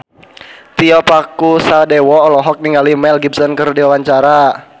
Tio Pakusadewo olohok ningali Mel Gibson keur diwawancara